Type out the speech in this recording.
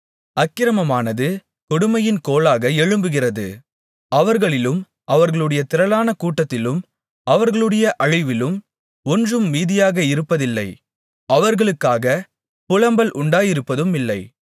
அக்கிரமமானது கொடுமையின் கோலாக எழும்புகிறது அவர்களிலும் அவர்களுடைய திரளான கூட்டத்திலும் அவர்களுடைய அழிவிலும் ஒன்றும் மீதியாக இருப்பதில்லை அவர்களுக்காக புலம்பல் உண்டாயிருப்பதுமில்லை